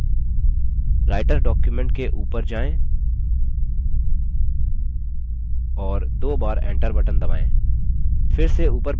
writer document के ऊपर जायें और दो बार enter बटन दबायें फिर से ऊपर बायीं तरफ जायें